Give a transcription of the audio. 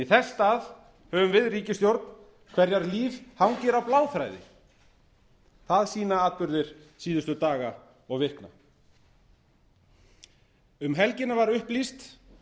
í þess stað höfum við ríkisstjórn hverrar líf hangir á bláþræði það sýna atburðir síðustu daga og vikna um helgina var upplýst